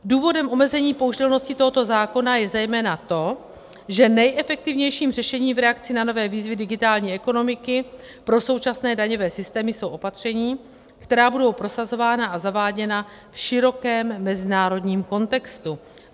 Důvodem omezení použitelnosti tohoto zákona je zejména to, že nejefektivnějším řešením v reakci na nové výzvy digitální ekonomiky pro současné daňové systémy jsou opatření, která budou prosazována a zaváděna v širokém mezinárodním kontextu.